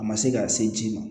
A ma se ka se ji ma